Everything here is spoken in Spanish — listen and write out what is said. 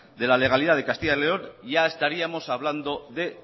la legalidad de castilla y león ya estaríamos de